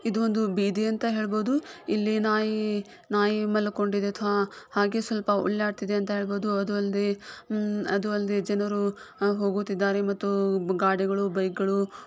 ಇದು ಒಂದು ಬೀದಿ ಅಂತ ಹೇಳ್ಬಹುದು ಇಲ್ಲಿ ನಾಯಿ ನಾಯಿ ಮಲ್ಕೊಂಡಿದೆ ಥೋ ಹಾಗೆ ಸ್ವಲ್ಪ ಒಳ್ಳಾಡ್ತಿದೆ ಅಂತ ಹೇಳಬಹುದು ಅದೂ ಅಲ್ಲದೆ ಉಮ್ ಅದೂ ಅಲ್ಲದೆ ಜನರು ಹೋಗುತ್ತಿದ್ದಾರೆ ಮತ್ತು ಗಾಡಿಗಳು ಬೈಕ್ಗಳು --